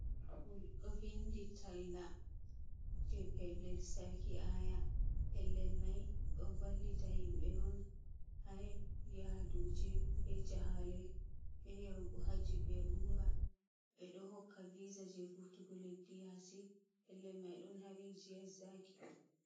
Ɗo o vindi talla je pellel sarki aya, pellel mai ɗo vallita himɓe on ha yaduji, be jahale, be yahugo haji be umra. Ɓe ɗo hokka visa je vurtugo leddi yasi pellel mai don ha rijiyan zaki on.